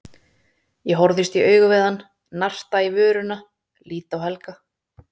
Ég horfist í augu við hann, narta í vörina, lít á Helga.